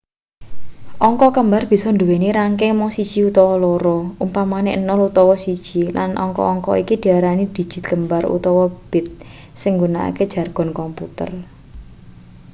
angka kembar bisa nduweni rangking mung siji utawa loro umpamane 0 utawa 1 lan angka-angka iki diarani dijit kembar utawa bit sing nggunakake jargon komputer